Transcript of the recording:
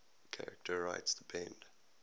charter rights depend